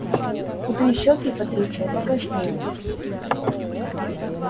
худые щёки патриция покраснели